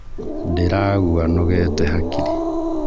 Ndĩragua nogète hakiri.